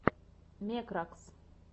мекракс